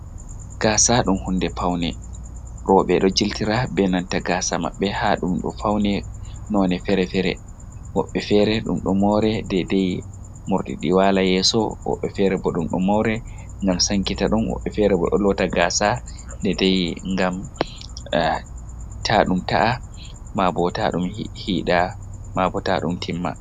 gasa ɗum hunɗe paune. robe ɗo jiltira be nanta gasa mabbe, ha ɗum ɗo faune none fere-fere. Wobbe fere dum do more ɗaiɗai mordidi wala yeso. woɓɓe fere bo dum dum more ngam sankita dum. Woɓɓe fere bo do loota gasa de dai ngam ta fum ta’a hida mabo ta dum timma.